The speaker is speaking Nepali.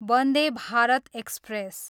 वन्दे भारत एक्सप्रेस